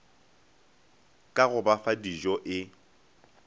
ka go ba fadijo e